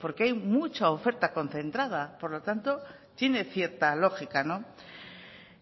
porque hay mucha oferta concentrada por lo tanto tiene cierta lógica